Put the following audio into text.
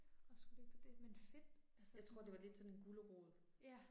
Og skulle løbe på det men fedt altså sådan. Ja